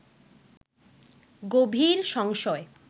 গভীর সংশয়